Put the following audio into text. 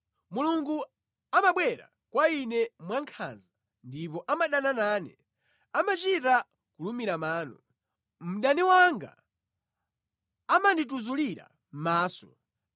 Mulungu amabwera kwa ine mwankhanza ndipo amadana nane, amachita kulumira mano; mdani wanga amandituzulira maso.